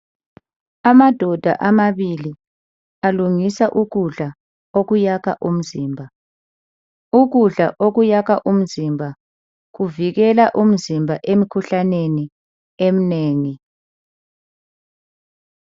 Amadoda amabili alungisa ukudla okuyakha umzimba. Ukudla okuyakha umzimba kuvikela umzimba emkhuhlaneni emnengi.